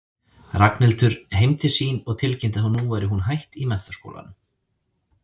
Ragnhildur heim til sín og tilkynnti að nú væri hún hætt í menntaskólanum.